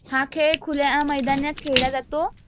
हा खेळ खुल्या मैदानात खेळला जातो